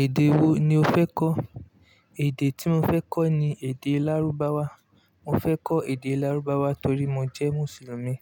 Èdè wo ni o fẹ́ kọ́? Èdè tí mo fẹ́ kọ́ ni èdè Lárúbáwá. Mo fẹ́ kọ́ èdè Lárúbáwá torí mo jẹ́ Mùsùlùmí.